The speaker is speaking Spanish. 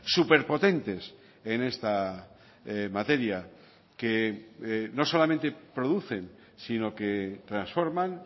súper potentes en esta materia que no solamente producen sino que transforman